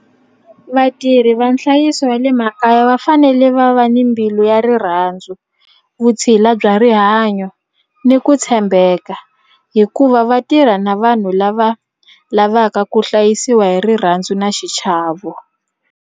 Vatirhi va nhlayiso wa le makaya va fanele va va ni mbilu ya rirhandzu, vutshila bya rihanyo ni ku tshembeka hikuva va tirha na vanhu lava lavaka ku hlayisiwa hi rirhandzu na xichavo.